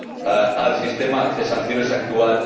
a al sistema de sanciones actual.